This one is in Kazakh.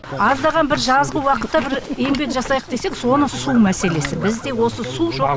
аздаған бір жазғы уақытта бір еңбек жасайық десек соны су мәселесі бізде осы су жоқ иә огород жоқ